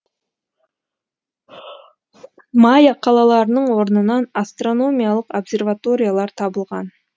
майя қалаларының орнынан астрономиялық обсерваториялар табылған